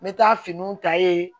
N bɛ taa finiw ta yen